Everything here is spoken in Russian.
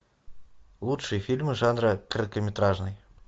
лучшие фильмы жанра короткометражный